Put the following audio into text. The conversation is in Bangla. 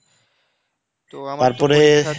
তারপরে